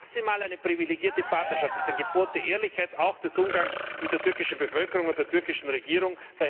Maximal eine privilegierte Partnerschaft! Das ist ein Gebot der Ehrlichkeit, auch des Umgangs mit der türkischen Bevölkerung und der türkischen Regierung.